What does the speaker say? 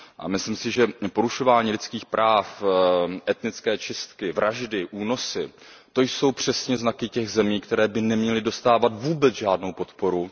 Myslím si, že porušování lidských práv, etnické čistky, vraždy, únosy, to jsou přesně znaky těch zemí, které by neměly dostávat vůbec žádnou podporu.